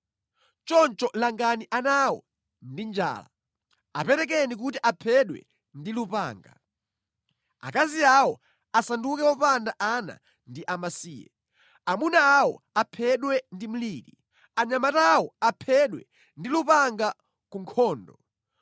Choncho langani ana awo ndi njala; aperekeni kuti aphedwe ndi lupanga. Akazi awo asanduke opanda ana ndi amasiye; amuna awo aphedwe ndi mliri, anyamata awo aphedwe ndi lupanga ku nkhondo.